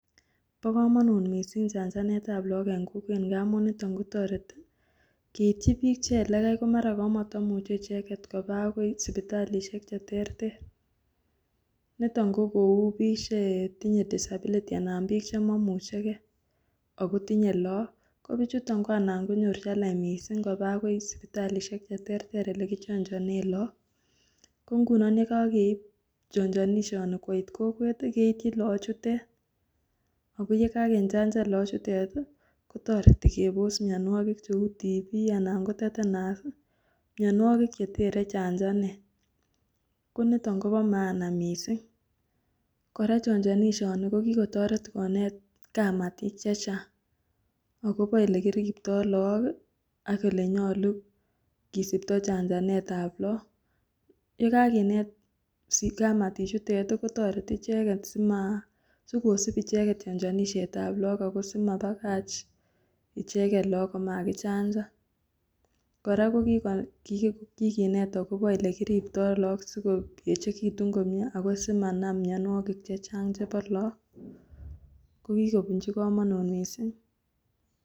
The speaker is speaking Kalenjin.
Bokomonut mising chanjanetab lokok en kokwet amun niton kotoreti keityi biik Che elekai komara katamuche icheket kobaa akoi sipitalishek cheterter, niton ko kouu biik chetinye disability anan biik chemomucheke ak kotinye look kobichuton ko anan konyor challenge mising kobaa akoi sipitalishek cheterter elekichonjonen look, ko ng'unon yekokeip chonjonisioni koit kokwet keityin loochutet ak ko yekakechanjan loochutet kotoreti kebos mionwokik cheuu TB anan ko tetenus, mionwokik chetere chanjanet, koniton Kobo maana mising, kora chonjonishoni ko kikotoret kora konet kamatik chechang akobo elekiribto look ak elenyolu kisipto janjanetab look, yekakinet kamatichutet kotoreti icheket simaa, sikosip icheket chonjonishetab look akoo simabakach icheket look komakichanjan, kora ko kikinet akobo olekiriptoo look sikoechekitun komnyee ako simanam mionwokik chechang chebo look, ko kikobunchi komonut mising.